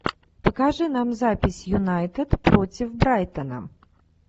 покажи нам запись юнайтед против брайтона